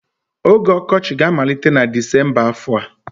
Oge ọkọchị ga-amalite na Disemba afọ a.